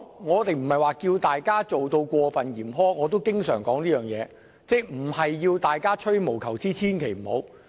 我不是要求訂定過分嚴苛的規定，我也經常說並非要大家吹毛求疵，千萬不要這樣做。